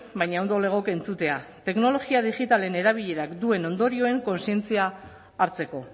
baina ondo legoke entzutea teknologia digitalen erabilerak duen ondorioen kontzientzia hartzeko